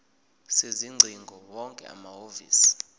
sezingcingo wonke amahhovisi